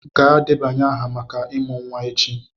Gaa debanye aha maka ịmụ nwa echi!